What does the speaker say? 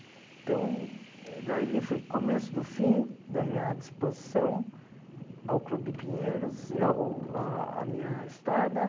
Então, daí foi o começo do fim da minha disposição ao Clube Pinheiros e à o a a minha estada.